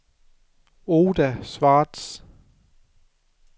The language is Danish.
Oda Schwartz